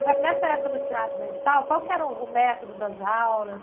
Agora, nessa época no Teatro Municipal, qual que era o o método das aulas?